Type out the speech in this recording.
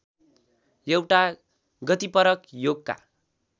एउटा गतिपरक योगका